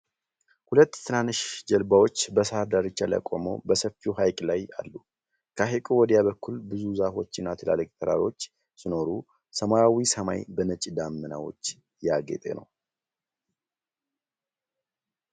ሁለት ትናንሽ ጀልባዎች በሣር ዳርቻ ላይ ቆመው በሰፊው ሐይቅ ላይ አሉ። ከሐይቁ ወዲያ በኩል ብዙ ዛፎችና ትላልቅ ተራሮች ሲኖሩ፣ ሰማያዊ ሰማይ በነጭ ደመናዎች ያጌጤ ነው።